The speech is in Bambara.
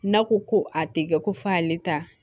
N'a ko ko a tɛ kɛ ko f'ale ta